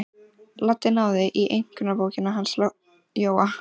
Lalli náði í einkunnabókina hans Jóa.